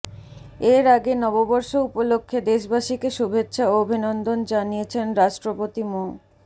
এর আগে নববর্ষ উপলক্ষে দেশবাসীকে শুভেচ্ছা ও অভিনন্দন জানিয়েছেন রাষ্ট্রপতি মো